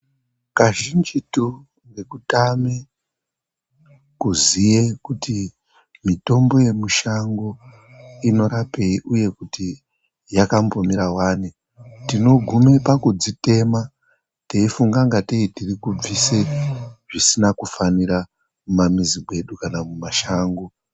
Kazhinjitu ngekutame kuziye kuti mitombo yemushango inorapei uye kuti yakambomira wani, tinogume pakudzitema teifunga ingatei tiri kubvise zvisina kufanira mumamizi medu kana mumashango.